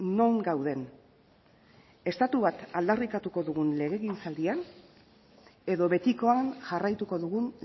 non gauden estatu bat aldarrikatuko dugun legegintzaldian edo betikoan jarraituko dugun